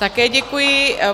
Také děkuji.